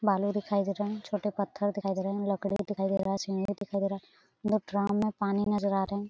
बालू दिखाई दे रहे है छोटे पत्थर दिखाई दे रहे हैं लकड़ी दिखाई दे रहा है सीमेंट दिखाई दे रहा है ड्राम में पानी नज़र आ रहे है।